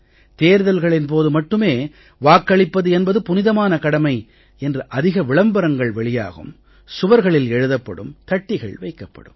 தேர்தல்களின் போது மட்டுமே வாக்களிப்பது என்பது புனிதமான கடமை என்று அதிக விளம்பரங்கள் வெளியாகும் சுவர்களில் எழுதப்படும் தட்டிகள் வைக்கப்படும்